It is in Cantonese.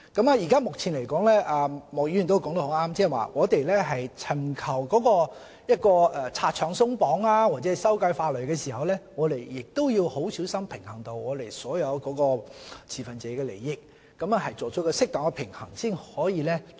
莫議員說得對，我們尋求拆牆鬆綁或修改法例時，要很小心平衡本港所有持份者的利益，作出適當的平衡，才可以做到。